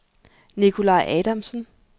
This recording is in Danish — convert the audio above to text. Nicolaj Adamsen